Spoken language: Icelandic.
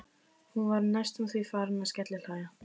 Hún var næstum því farin að skellihlæja.